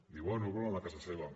diu oh no el volen a casa seva